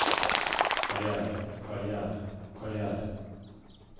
karrière karrière karrière